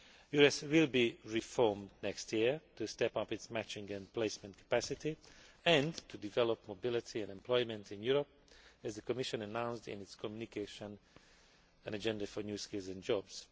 EURES will be reformed next year to step up its matching and placement capacity and to develop mobility and employment in Europe, as the Commission announced in its communication An Agenda for New Skills and Jobs'.